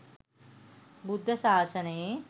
බුද්ධ ශාසනයේ